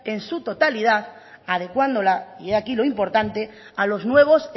en su totalidad adecuándola y he aquí lo importante a los nuevos